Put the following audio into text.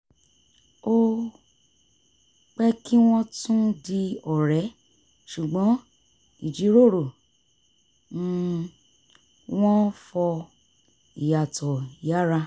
ó pẹ́ kí wọ́n tún di ọ̀rẹ́ ṣùgbọ́n ìjíròrò um wọn fọ ìyàtọ̀ yára